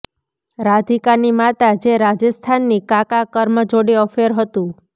રાધિકાની માતા જે રાજસ્થાની કાકા કર્મ જોડે અફેર હતું